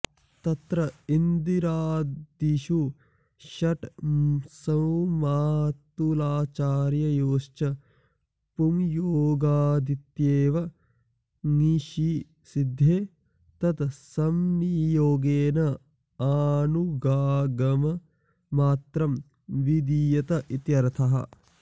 तत्र इन्द्रादिषु षट्सुमातुलाचार्ययोश्च पुंयोगादित्येव ङीषि सिद्धे तत्संनियोगेन आनुगागममात्रं विधीयत इत्यर्थः